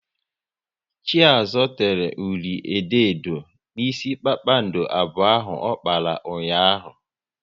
Chiazo tere ụli edo edo n'isi kpakpando abụọ ahụ ọ kpara ụnyaahụ